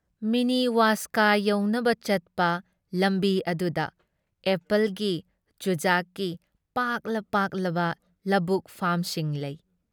ꯃꯤꯅꯤ ꯋꯥꯁꯀꯥ ꯌꯧꯅꯕ ꯆꯠꯄ ꯂꯝꯕꯤ ꯑꯗꯨꯗ ꯑꯦꯄꯜꯒꯤ, ꯆꯨꯖꯥꯛꯀꯤ ꯄꯥꯛꯂ ꯄꯥꯛꯂꯕ ꯂꯕꯨꯛ ꯐꯥꯝꯁꯤꯡ ꯂꯩ ꯫